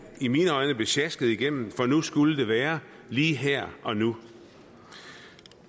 i mine øjne blev sjasket igennem for nu skulle det være lige her og nu